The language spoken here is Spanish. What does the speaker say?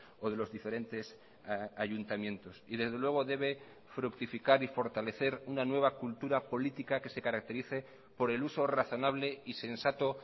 o de los diferentes ayuntamientos y desde luego debe fructificar y fortalecer una nueva cultura política que se caracterice por el uso razonable y sensato